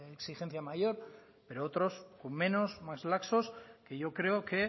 exigencia mayor pero otros con menos más laxos que yo creo que